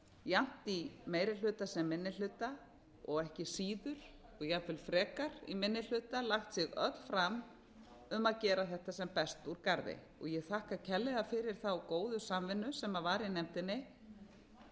jafnt í meiri hluta sem minni hluta og ekki síður og jafnvel frekar í minni hluta lagt sig öll fram um að gera þetta sem best úr garði ég þakka kærlega fyrir þá góðu samvinnu sem var í nefndinni